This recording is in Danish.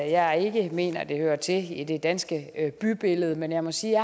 jeg ikke mener at det hører til i det danske bybillede men jeg må sige at